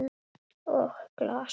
Og glas.